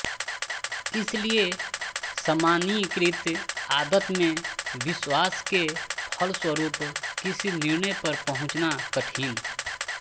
इसलिए सामान्यीकृत आदत में विश्वास के फलस्वरूप किसी निर्णय पर पहुंचना कठिन